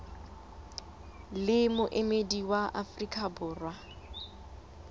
le moemedi wa afrika borwa